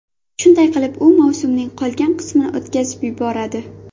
Shunday qilib, u mavsumning qolgan qismini o‘tkazib yuboradi.